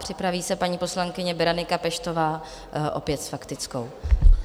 Připraví se paní poslankyně Berenika Peštová, opět s faktickou.